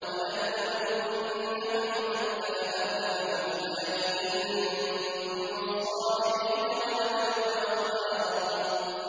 وَلَنَبْلُوَنَّكُمْ حَتَّىٰ نَعْلَمَ الْمُجَاهِدِينَ مِنكُمْ وَالصَّابِرِينَ وَنَبْلُوَ أَخْبَارَكُمْ